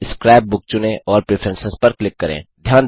अब scrap book चुनें और प्रेफरेंस पर क्लिक करें